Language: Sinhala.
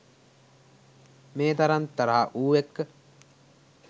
මේ තරම් තරහ ඌ එක්ක?